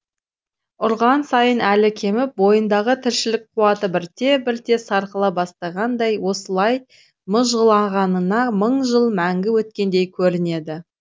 ұрған сайын әлі кеміп бойындағы тіршілік қуаты бірте бірте сарқыла бастағандай осылай мыжғылағанына мың жыл мәңгі өткендей көрінеді